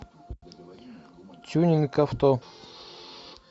тюнинг авто